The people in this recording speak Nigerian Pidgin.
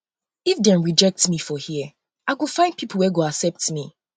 if dem rejectme for here i go um find pipo wey go accept me